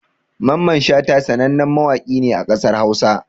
Mamman Shata sanannen mawaƙi ne a ƙasar Hausa